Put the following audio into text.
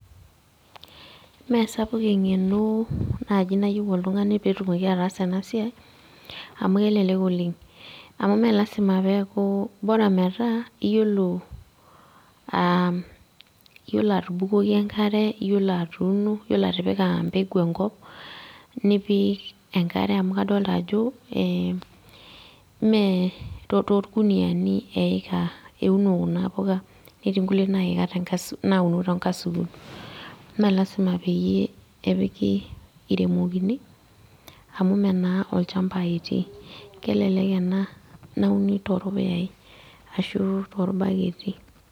Mee sapuk eng'eno naaji nayieu oltung'ani peetumoki ataasa ena siai amu kelelek oleng amu mee lazima peeku bora metaa iyiolo aa iyiolo atubukoki enkare iyiolo atuuno iyiolo atipika empeku enkop nipik enkare amu kadolita ajo meetoorkuniani eeika euno kuna puka ketii kulie nauno tenkasuku mee lazima peyie eiremokini amu meenaa olchamba etii kelelek ena nauni torpuyai ashuu ashuu torbaketi.